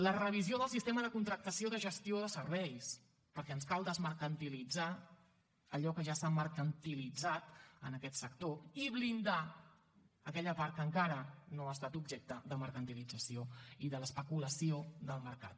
la revisió del sistema de contractació de gestió de serveis perquè ens cal desmercantilitzar allò que ja s’ha mercantilitzat en aquest sector i blindar aquella part que encara no ha estat objecte de mercantilització i de l’especulació del mercat